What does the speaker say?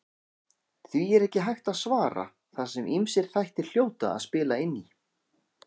Því er ekki hægt að svara þar sem ýmsir þættir hljóta að spila inn í.